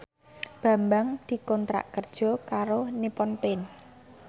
Bambang dikontrak kerja karo Nippon Paint